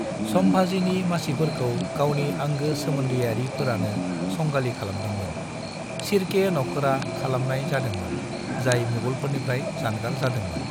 संभाजीनि मासिफोरखौ गावनि आंगो सोमोन्दोयारिफोरानो संगालि खालामदोंमोन , शिर्के नखोरा खालामनाय जादोंमोन, जाय मुगलफोरनिफ्राय जानगार जादोंमोन।